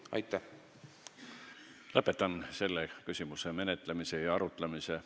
Lõpetan selles infotunnis selle küsimuse üle arutlemise.